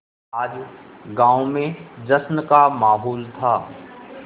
आज गाँव में जश्न का माहौल था